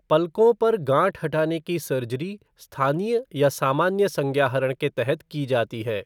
पलकों पर गाँठ हटाने की सर्जरी स्थानीय या सामान्य संज्ञाहरण के तहत की जाती है।